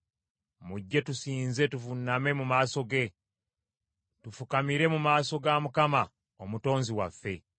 Mujje tusinze tuvuuname mu maaso ge; tufukamire mu maaso ga Mukama , Omutonzi waffe.